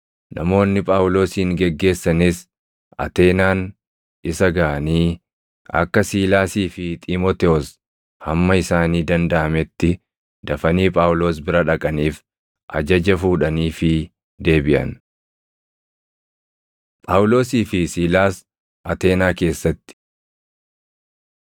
Namoonni Phaawulosin geggeessanis Ateenaan isa gaʼanii akka Siilaasii fi Xiimotewos hamma isaanii dandaʼametti dafanii Phaawulos bira dhaqaniif ajaja fuudhaniifii deebiʼan. Phaawulosii fi Siilaas Ateenaa Keessatti